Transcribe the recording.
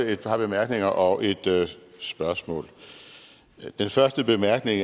et par bemærkninger og et spørgsmål den første bemærkning